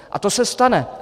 A to se stane.